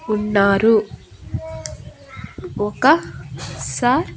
ఉన్నారు ఒక సా--